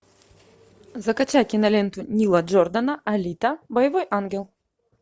закачай киноленту нила джордана алита боевой ангел